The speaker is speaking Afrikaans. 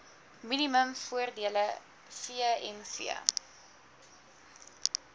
minimum voordele vmv